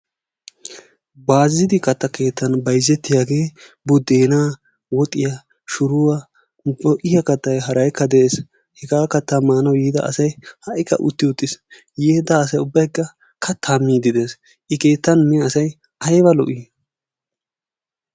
Baaziti katta keettan bayzzetiyagee budeenaa, woxxiya shuruwa ho'iya kattay haraykka de'ees. Hegaa kattaa maanawu yiida asay ha''ikka utti uttiis. yi ida asay ubbay kattaa miiddi de'ees. Keettan mule asay ayba lo'ii?